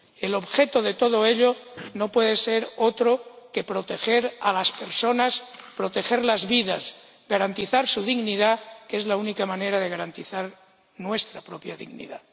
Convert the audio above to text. El objeto de todo ello no puede ser otro que proteger a las personas, proteger las vidas, garantizar su dignidad, que es la única manera de garantizar nuestra propia dignidad.